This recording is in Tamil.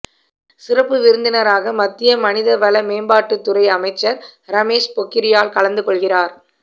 சிறப்பு விருந்தினராக மத்திய மனிதவள மேம்பாட்டுத் துறை அமைச்சா் ரமேஷ் பொக்கிரியால் கலந்து கொள்கிறாா்